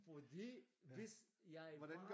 Fordi hvis jeg var